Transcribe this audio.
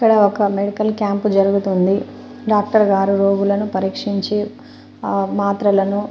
ఇక్కడ ఒక medical camp జరుగుతుంది డాక్టర్ గారు రోగులను పరీక్షించి మాత్రలను